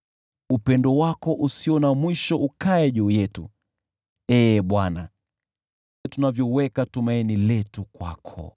Upendo wako usio na mwisho ukae juu yetu, Ee Bwana , tunapoliweka tumaini letu kwako.